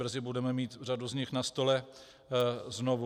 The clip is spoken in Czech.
Brzy budeme mít řadu z nich na stole znovu.